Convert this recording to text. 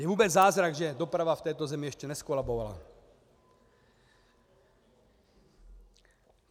Je vůbec zázrak, že doprava v této zemi ještě nezkolabovala.